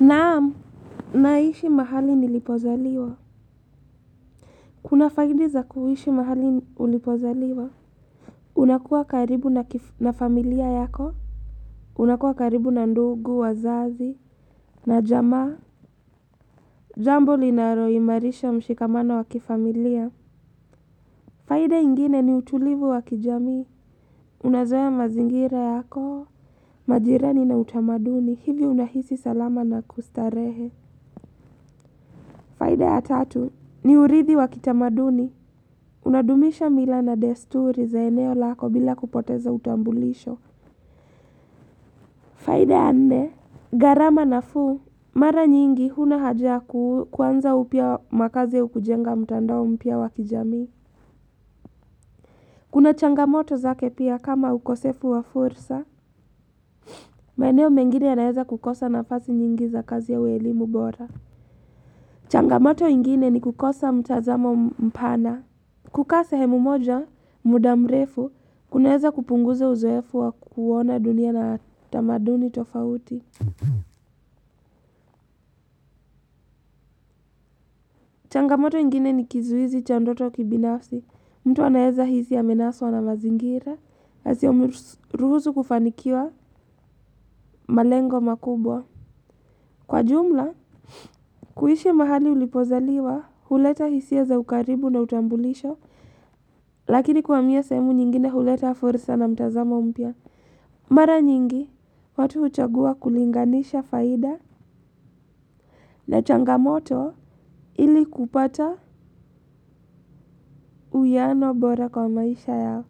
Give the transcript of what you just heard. Naam, naishi mahali nilipozaliwa. Kuna faidi za kuishi mahali ulipozaliwa. Unakuwa karibu na familia yako. Unakuwa karibu na ndugu, wazazi, na jamaa. Jambo linalo imarisha mshikamana wa kifamilia. Faida ingine ni utulivu wa kijami. Unazoya mazingira yako. Majirani na utamaduni. Hivyo unahisi salama na kustarehe. Faida ya tatu. Ni urithi wakitamaduni. Unadumisha mila na desturi za eneo lako bila kupoteza utambulisho. Faida ya nne, gharama nafuu. Mara nyingi huna haja ya kuanza upya makazi ya kujenga mtandao mpya wa kijamii. Kuna changamoto za ketia kama ukosefu wa fursa. Maeneo mengine ya naeza kukosa nafasi nyingi za kazi ya uelimu bora. Changamoto ingine ni kukosa mtazamo mpana. Kukaa sehemu moja, muda mrefu, kuneza kupunguza uzoefu wa kuona dunia na tamaduni tofauti. Changamoto ingine ni kizuizi cha ndoto kibinafsi, mtu anaweza hisi ya menasuwa na mazingira, hasi umiruzu kufanikiwa malengo makubwa. Kwa jumla, kuishi mahali ulipozaliwa, huleta hisi ya za ukaribu na utambulisha, lakini kuwamia sehemu nyingine huleta forisa na mtazama umpia. Mara nyingi, watu huchagua kulinganisha faida na changamoto ili kupata uwiano bora kwa maisha yao.